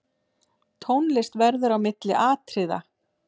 Tónlist verður á milli atriða.